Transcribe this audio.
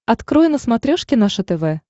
открой на смотрешке наше тв